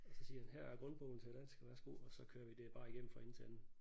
Og så siger han her er grundbogen til dansk værsgo og så kører vi det er bare igennem fra ende til anden